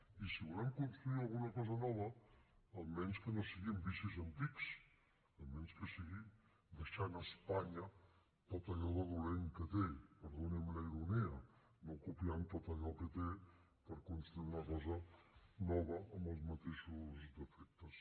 i si volem construir alguna cosa nova almenys que no sigui amb vicis antics almenys que sigui deixant a espanya tot allò de dolent que té perdoni’m la ironia no copiant tot allò que té per construir una cosa nova amb els mateixos defectes